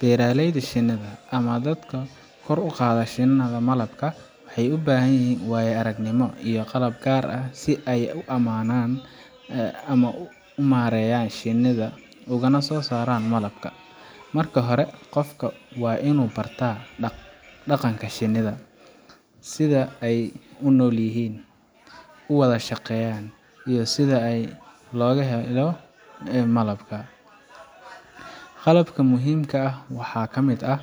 Beeraleyda shinnida, ama dadka kor u qaada shinnida malabka, waxay u baahan yihiin waayo aragnimo iyo qalab gaar ah si ay si ammaan ah u maareeyaan shinnida ugana soo saaraan malabka. Marka hore, qofka waa inuu bartaa dhaqanka shinnida sida ay u noolyihiin, u wada shaqeeyaan, iyo sida looga ilaaliyo malabka. Qalabka muhiimka ah waxaa ka mid ah: